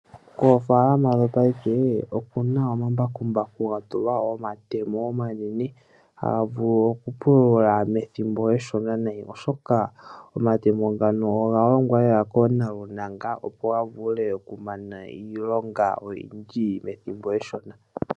Oofalama dhopaife okuna omambakumbaku gatulqa omatemo omanene haga vulu okupulula methimbo eshona oshoka omatemo ngano oga longwa lela koontaluntanga opo gavule okumana iilonga oyindji methimbo eshona.